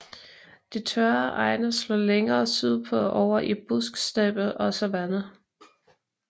De tørre egne slår længere sydpå over i busksteppe og savanne